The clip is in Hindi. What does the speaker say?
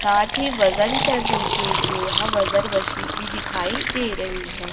साथ ही वजन करने के लिए यहां वजन मशीन भी दिखाई दे रही है।